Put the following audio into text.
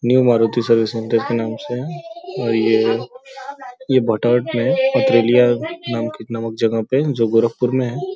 New Maruti service centre के नाम से है और ये पथरिया नामक जगह में है जो गोरखपुर में है।